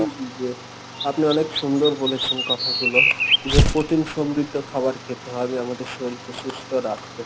জি আপনি অনেক সুন্দর বলেছেন যে কথাগুলো যে প্রোটিন সমৃদ্ধ খাবার খেতে হবে আমাদের শরীলকে সুস্থ রাখতে।